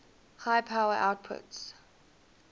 high power outputs